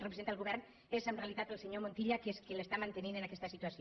representa el govern és en reali·tat el senyor montilla que és qui l’està mantenint en aquesta situació